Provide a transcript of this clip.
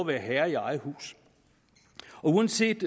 være herre i eget hus uanset